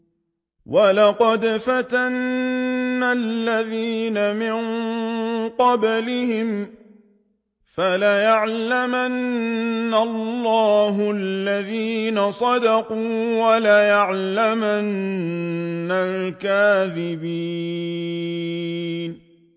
وَلَقَدْ فَتَنَّا الَّذِينَ مِن قَبْلِهِمْ ۖ فَلَيَعْلَمَنَّ اللَّهُ الَّذِينَ صَدَقُوا وَلَيَعْلَمَنَّ الْكَاذِبِينَ